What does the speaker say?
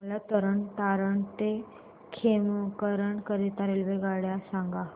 मला तरण तारण ते खेमकरन करीता रेल्वेगाड्या सांगा